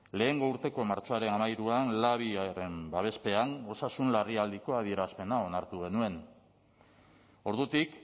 lehengo urteko martxoaren hamairuan labiaren babespean osasun larrialdiko adierazpena onartu genuen ordutik